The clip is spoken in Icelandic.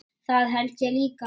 Það held ég líka